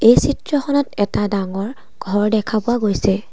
এই চিত্ৰখনত এটা ডাঙৰ ঘৰ দেখা পোৱা গৈছে।